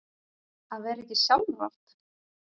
Að vera ekki sjálfrátt